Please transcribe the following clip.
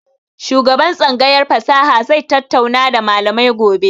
Shugaban tsangayar fasaha zai tattauna da malamai gobe.